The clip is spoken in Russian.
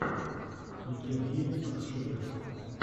евген гейминг лучший выпуск